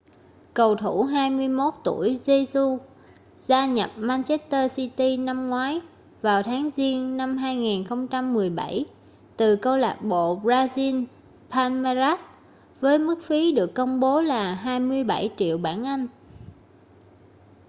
cầu thủ 21 tuổi jesus gia nhập manchester city năm ngoái vào tháng giêng năm 2017 từ câu lạc bộ brazil palmeiras với mức phí được công bố là 27 triệu bảng anh